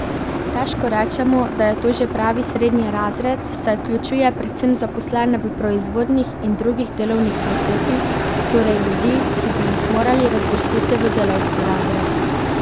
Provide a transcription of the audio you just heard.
Težko rečemo, da je to že pravi srednji razred, saj vključuje predvsem zaposlene v proizvodnih in drugih delovnih procesih, torej ljudi, ki bi jih morali razvrstiti v delavski razred.